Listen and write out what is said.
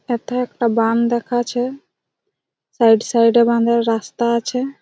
এটা একটা বাঁধ দেখা আছে সাইড সাইড এ বাঁধের রাস্তা আছে ।